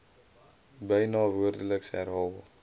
byna woordeliks herhaal